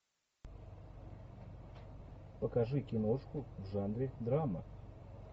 покажи киношку в жанре драма